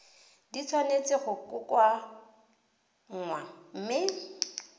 di tshwanetse go kokoanngwa mme